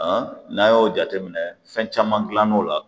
Han n'a y'o jateminɛ fɛn caman gilan n'o la